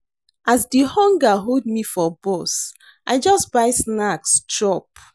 As di hunger hold me for bus, I just buy snacks chop.